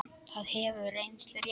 Það hefur reynst rétt.